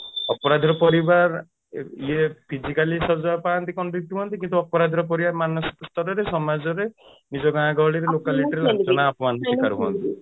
ଅପରାଧୀର ପରିବାର ଇଏ physically ସଜ୍ଜା ପାନ୍ତି convict ହୁଅନ୍ତି କିନ୍ତୁ ଅପରାଧୀର ପରିବାର ମାନସିକ ସ୍ତରରେ ସମାଜରେ ନିଜ ଗାଁ ଗହଳିରେ locality ରେ